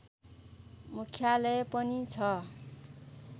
मुख्यालय पनि छ